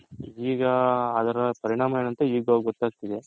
ಈಗ ಅದರ ಪರಿಣಾಮ ಏನು ಅಂತ ಈಗ ಗೊತ್ತಾಗ್ತಿದೆ.